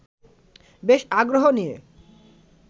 বেশ আগ্রহ নিয়ে